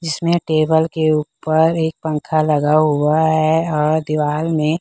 जिसमें टेबल के ऊपर एक पंखा लगा हुआ है और दीवार में--